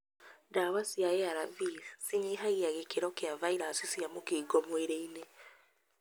Dawa cia ARV cinyihagia gĩkĩro kia virasi cia mũkingo mwĩrĩinĩ.